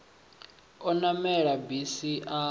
o namela bisi a tsa